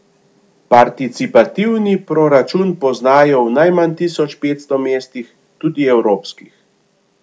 Participativni proračun poznajo v najmanj tisoč petsto mestih, tudi evropskih.